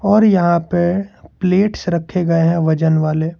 और यहां पे प्लेट्स रखे गए हैं वजनवाले।